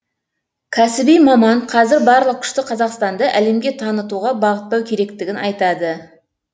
кәсіби маман қазір барлық күшті қазақстанды әлемге танытуға бағыттау керектігін айтады